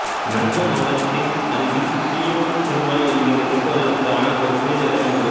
நங்கமங்களத்தின் அருகில் சீயோன் திருமலை என்கின்ற கிறிஸ்தவர்களுக்கான ஒரு புனித இடம் உண்டு